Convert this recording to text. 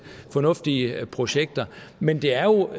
fornuftige projekter men det er jo